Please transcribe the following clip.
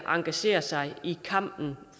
engageret sig i kampen